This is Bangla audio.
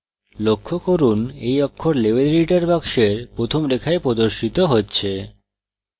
লক্ষ্য করুন এই অক্ষর level editor box প্রথম রেখায় প্রদর্শিত হচ্ছে